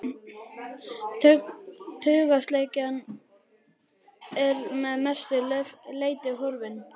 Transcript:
Taugaslekjan er að mestu leyti horfin.